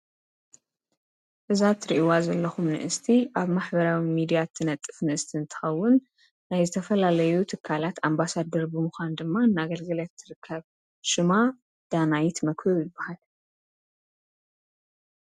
ብዛት ርእይዋ ዘለኹም ንእስቲ ኣብ ማኅበራዊ ሚዲያት ትነጥፍ ንእስቲ እንታሃውን ናይ ዝተፈላለዩ ትካላት ኣምባሳድ ድርብ ምዃን ድማ እናገልገለት ትርከብ ሽማ ዳናይት መክብብ ይበሃል።